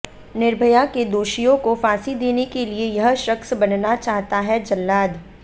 निर्भया के दोषियों को फांसी देने के लिए यह शख्स बनना चाहता है जल्लाद